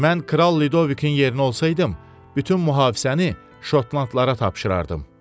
Mən Kral Lidovikin yerinə olsaydım, bütün mühafizəni Şotlandlara tapşırardım.